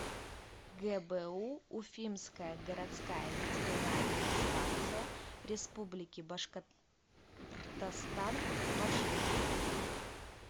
гбу уфимская городская ветеринарная станция республики башкортостан маршрут